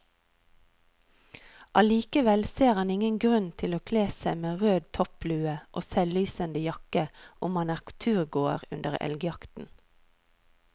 Allikevel ser han ingen grunn til å kle seg med rød topplue og selvlysende jakke om man er turgåer under elgjakten.